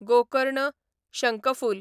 Gokarna, शंकफूल